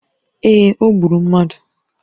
Ee, o gburu mmadụ